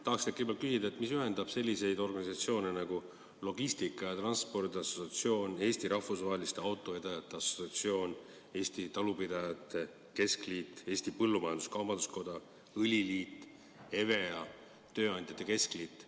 Tahaks teilt kõigepealt küsida, mis ühendab selliseid organisatsioone nagu Logistika ja Transiidi Assotsiatsioon, Eesti Rahvusvaheliste Autovedajate Assotsiatsioon, Eesti Talupidajate Keskliit, Eesti Põllumajandus-Kaubanduskoda, Eesti Õliühing, EVEA, Eesti Tööandjate Keskliit.